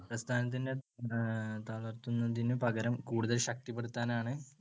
പ്രസ്ഥാനത്തിനെ അഹ് തളർത്തുന്നതിനുപകരം കൂടുതൽ ശക്തിപ്പെടുത്താനാണ്